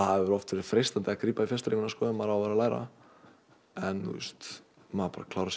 hefur oft verið freistandi að grípa í fjarstýringuna þegar maður á að vera að læra en maður klárar